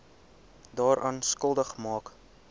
daaraan skuldig maak